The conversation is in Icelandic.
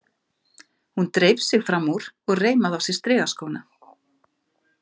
Hún dreif sig fram úr og reimaði á sig strigaskóna.